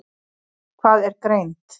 Hvað er greind?